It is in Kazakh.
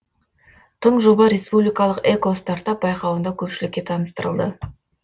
тың жоба республикалық экостартап байқауында көпшілікке таныстырылды